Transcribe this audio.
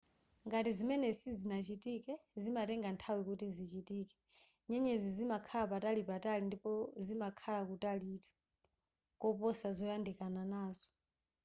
ngati zimenezi sizinachitike zimatenga nthawi kuti zichitike.nyenyezi zimakhala patalipatali ndipo zimakhala kutalitu koposa zoyandikana nazo